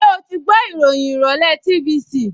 Ṣẹ́ o gbọ́ ìròyìn ìrọ̀lẹ́ ìròyìn TVC?